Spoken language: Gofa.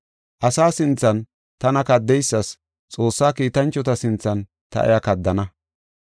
Asa sinthan tana kaddeysas Xoossa kiitanchota sinthan ta iya kaddana.